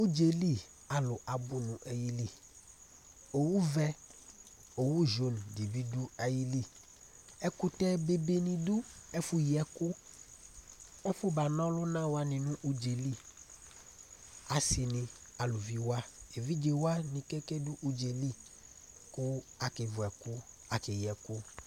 Ʋdzali alu abʋ nʋ ayìlí Owu vɛ, owu jaune di bi du ayìlí Ɛkʋtɛ be be ni du Ɛfʋ yi ɛkʋ, ɛfʋ bana ɔluna wani nʋ ʋdza yɛ li Asi ni, alʋvi wa, evidze wani ke ke du ʋdza yɛ li kʋ ake vʋ ɛkʋ, akeyi ɛkʋ